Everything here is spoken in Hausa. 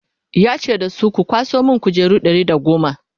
ya ce da su 'ku kwaso min kujeru Ɗari da goma!"